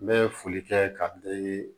N bɛ foli kɛ ka dɛ